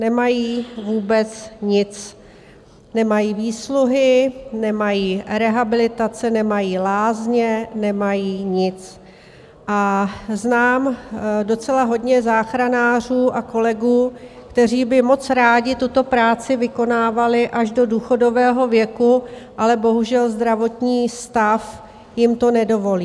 Nemají vůbec nic - nemají výsluhy, nemají rehabilitace, nemají lázně, nemají nic, a znám docela hodně záchranářů a kolegů, kteří by moc rádi tuto práci vykonávali až do důchodového věku, ale bohužel, zdravotní stav jim to nedovolí.